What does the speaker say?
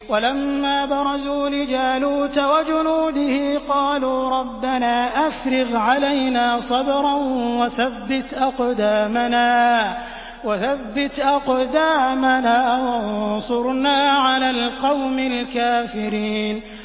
وَلَمَّا بَرَزُوا لِجَالُوتَ وَجُنُودِهِ قَالُوا رَبَّنَا أَفْرِغْ عَلَيْنَا صَبْرًا وَثَبِّتْ أَقْدَامَنَا وَانصُرْنَا عَلَى الْقَوْمِ الْكَافِرِينَ